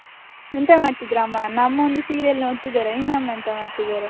ಎಂತ ಮಾಡ್ತಿದ್ದಾರೆ ಅಮ್ಮ ನನ್ನ ಅಮ್ಮ ಒಂದು serial ನೋಡ್ತಿದ್ದಾರೆ, ನಿನ್ನ ಅಮ್ಮ ಎಂತ ಮಾಡ್ತಿದ್ದಾರೆ?